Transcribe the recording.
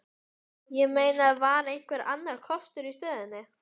Ég meina, var einhver annar kostur í stöðunni?